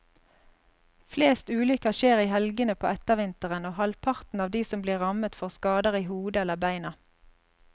Flest ulykker skjer i helgene på ettervinteren, og halvparten av de som blir rammet får skader i hodet eller beina.